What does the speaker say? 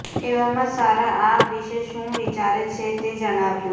એવામાં સારા આ વિશે શું વિચારે છે તે જણાવ્યું